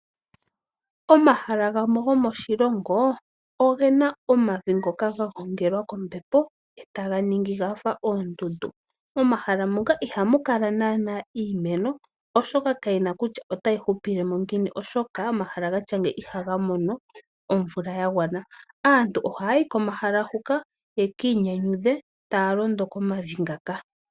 Omahala gamwe gomoshilongo ogena omavi ngoka gagongelwa kombepo eta ga ningi gafa oondundu. Momahala muka ihamu kala nana iimeno oshoka kayina kutya otayi hupilemo ngiini, oshoka omahala gatya ngika ihaga mono omvula yagwana. Aantu ohaya yi komahala huka yekiinyanyudhe taya londo komavi ngaka.